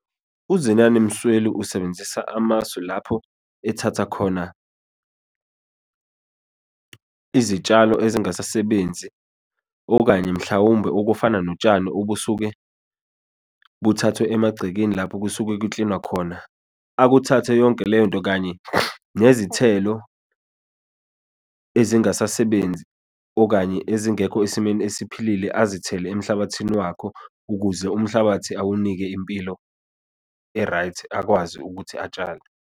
UZenani Msweli usebenzisa amasu lapho ethatha khona izitshalo ezingasasebenzi, okanye mhlawumbe okufana notshani obusuke buthathwe emagcekeni lapho kusuke kuklinwa khona. Akuthathe yonke leyo nto kanye nezithelo ezingasasebenzi, okanye ezingekho esimeni esiphilile, azithele emhlabathini wakhe, ukuze umhlabathi awunike impilo e-right, akwazi ukuthi atshale.